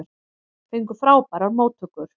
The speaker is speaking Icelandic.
Fengu frábærar móttökur